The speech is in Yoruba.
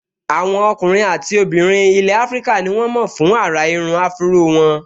Àwọn ọkùnrin àti obìnrin ilẹ̀ áfríkà ní wọ́n mọ̀ fún àrà irun áfúró wọn